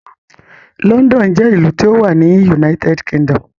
London jẹ́ ìlú tí ó wà ní United Kingdom.